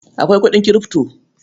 Akwai kuɗin Kirifto.